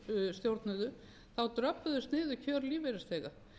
stjórnuðu þá dröbbuðust niður kjör lífeyrisþega